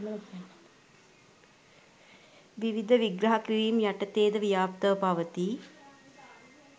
විවිධ විග්‍රහ කිරීම් යටතේ ද ව්‍යාප්තව පවතී.